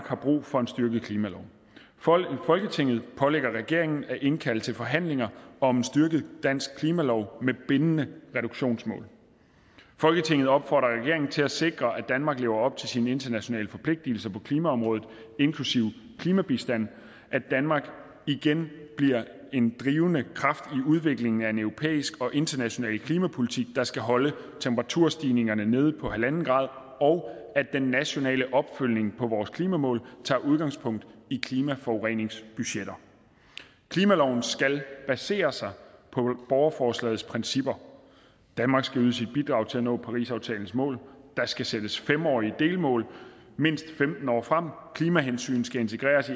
har brug for en styrket klimalov folketinget pålægger regeringen at indkalde til forhandlinger om en styrket dansk klimalov med bindende reduktionsmål folketinget opfordrer regeringen til at sikre at danmark lever op til sine internationale forpligtelser på klimaområdet inklusive klimabistand at danmark igen bliver en drivende kraft i udviklingen af en europæisk og international klimapolitik der skal holde temperaturstigningerne nede på en grader og at den nationale opfølgning på vores klimamål tager udgangspunkt i klimaforureningsbudgetter klimaloven skal baseres på borgerforslagets principper danmark skal yde sit bidrag til at nå parisaftalens mål der skal sættes fem årige delmål mindst femten år frem klimahensyn skal integreres